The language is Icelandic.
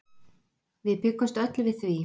Við bjuggumst öll við því.